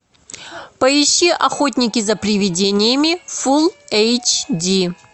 поищи охотники за приведениями фул эйч ди